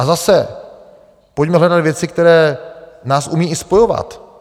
A zase, pojďme hledat věci, které nás umí i spojovat.